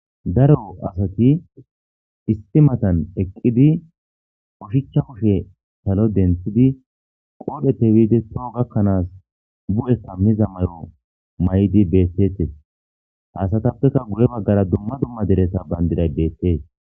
Daro Asati issi matan Eqidi oshicha kushen Salo denthidi qodhepe bidi toho Gatho Bu'eqamiza mayo Mayidi Detes Ha asatapeka Guye bagara Duma duma dereza Bandiray betes